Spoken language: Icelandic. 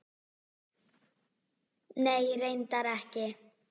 Nei, reyndar ekki.